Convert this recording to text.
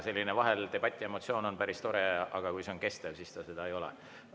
Selline debati emotsioon on vahel päris tore, aga kui see on kestev, siis see seda ei ole.